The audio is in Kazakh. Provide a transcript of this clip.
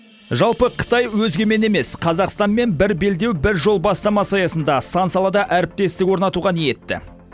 жалпы қытай өзгемен емес қазақстанмен бір белдеу бір жол бастамасы аясында сан салада әріптестік орнатуға ниетті